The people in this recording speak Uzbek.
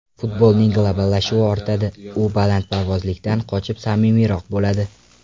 Futbolning globallashuvi ortadi, u balandparvozlikdan qochib samimiyroq bo‘ladi.